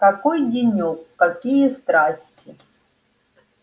какой денёк какие страсти